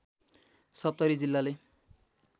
सप्तरी जिल्लाले